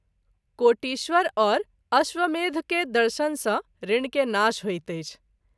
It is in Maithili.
कोटीश्वर और अश्वमेध के दर्शन सँ ऋण के नाश होइत अछि।